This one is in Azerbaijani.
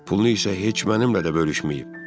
Pulunu isə heç mənimlə də bölüşməyib.